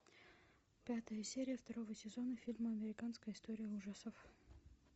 пятая серия второго сезона фильма американская история ужасов